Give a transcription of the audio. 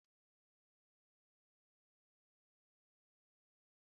Gésha dị mma maka nri kwam kwam